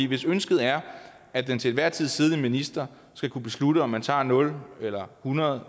hvis ønsket er at den til enhver tid siddende minister skal kunne beslutte om man tager nul eller hundrede